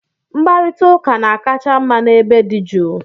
Mkparịta ụka na-akacha mma n'ebe dị jụụ